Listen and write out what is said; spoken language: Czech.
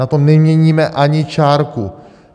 Na tom neměníme ani čárku.